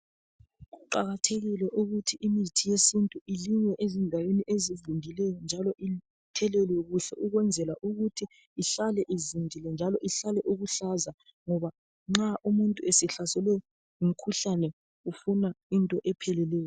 Kuqakathekile ukuthi imithi yesintu ilinywe endaweni ezivundileyo njalo ithelelwe kuhle ukwenzela ukuthi ihlale ivundile njalo ihlale iluhlaza ngoba nxa umuntu esehlaselwe ngumkhuhlane ufuna into epheleleyo.